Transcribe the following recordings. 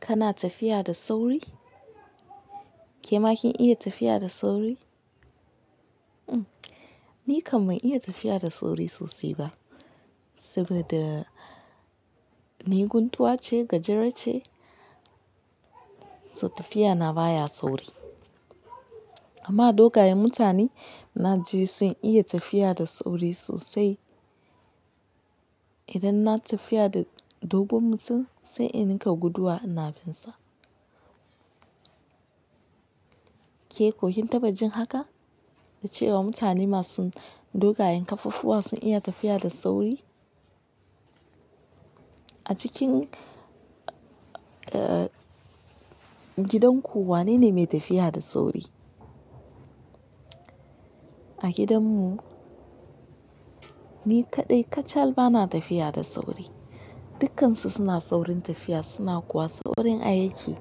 Kana tafiya da sauri? Ke ma kin iya tafiya da sauri? Mm, ni kam ban iya tafiya da sauri sosai ba, saboda ni guntuwa ce, gajera ce, so tafiya na baya sauri. Amma dogayen mutane na ji sun iya tafiya da sauri sosai. Idan na tafiya da dogon mutum, sai in rinka guduwa ina binsa. Ke koh kin taɓa jin haka? Da cewa mutane masu dogayen kafaffuwa sun iya tafiya da sauri? A cikin, eh, gidanku wanene mai tafiya da sauri? A gidanmu, ni kaɗai kacal bana tafiya da sauri. Dukansu suna saurin tafiya suna kuwa saurin ayyuki.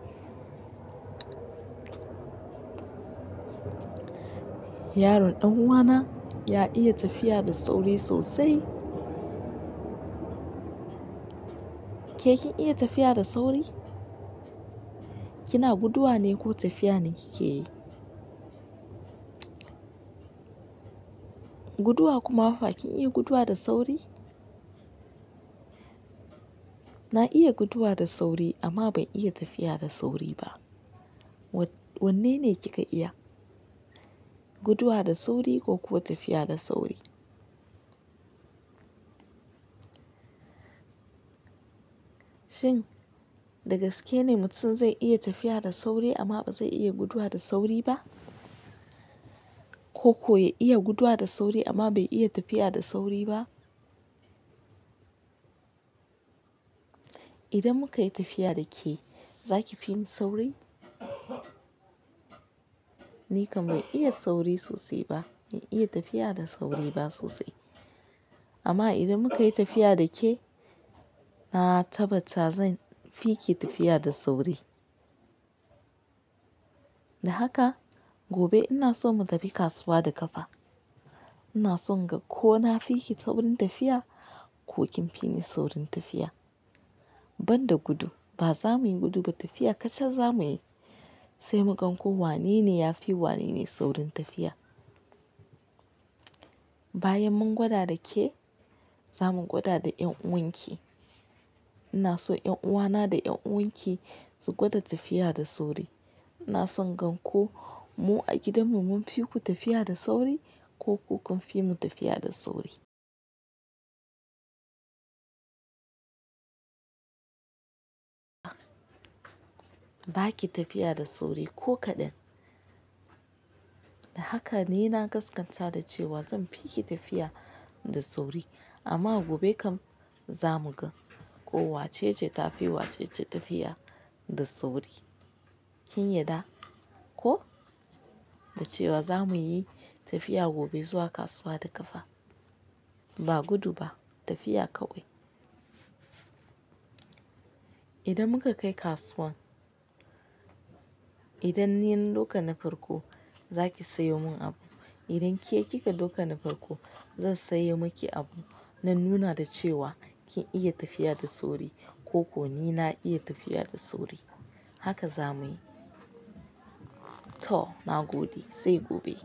Yaron ɗan uwana ya iya tafiya da sauri sosai. Ke kin iya tafiya da sauri? Kina guduwa ne ko tafiya ne kike yi? Guduwa kuma fa kin iya guduwa da sauri? Na iya guduwa da sauri amma ban iya tafiya da sauri ba. Wa-wanne ne kika iya, guduwa da sauri ko kuwa tafiya da sauri? Shin, da gaske ne mutum zai iya tafiya da sauri amma ba zai iya guduwa da sauri ba? Ko kuwa ya iya guduwa da sauri amma bai iya tafiya da sauri ba? Idan muka yi tafiya da ke, za ki fi ni sauri? Ni kam bai iya sauri sosai ba, ban iya tafiya da sauri ba sosai. Amma idan muka yi tafiya da ke, na tabbata zan fi ki tafiya da sauri. Da haka, gobe ina so mu tafi kasuwa da ƙafa. Ina son inga ko na fi ki saurin tafiya ko kin fi ni saurin tafiya. Ban da gudu. Ba za muyi gudu ba, tafiya kacal za muyi. Sai mu gan ko wanene ya fi wanene saurin tafiya. Bayan mun gwada da ke, za mu gwada da 'yan'uwan ki. Ina so 'yan'uwana da 'yan'uwan ki su gwada tafiya da sauri. Ina son gan ko mu a gidanmu mun fi ku tafiya da sauri ko ku kun fi mu tafiya da sauri. Ba ki tafiya da sauri ko kaɗan. Da haka ni na gaskata da cewa zan fi ki tafiya da sauri. Amma gobe kam za mu ga ko wace ce ta fi wace tafiya da sauri. Kin yarda ko? Da cewa za mu yi tafiya gobe zuwa kasuwa da ƙafa. Ba gudu ba, tafiya kawai. Idan muka kai kasuwan, idan ni na doka na farko, za ki sayo mun abu. Idan ke kika doka na farko, zan sayo maki abu na nuna da cewa kin iya tafiya da sauri ko ko ni na iya tafiya da sauri. Haka za muyi. To, na gode, sai gobe.